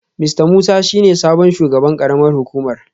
Mista Musa shi ne sabon shugaban karamar hukumar